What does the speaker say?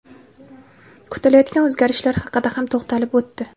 kutilayotgan o‘zgarishlar haqida ham to‘xtalib o‘tdi.